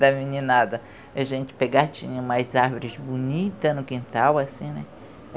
Da meninada A gente pegava, tinha umas árvores bonitas no quintal, assim, né?